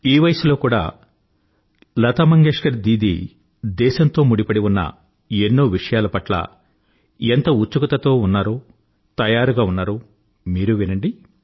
ఈ వయసులో కూడా లతా దీదీ దేశంతో ముడిపడి ఉన్న ఎన్నో విషయాల పట్ల ఎంత ఉత్సుకతతో ఉన్నారో తయారుగా ఉన్నారో మీరూ వినండి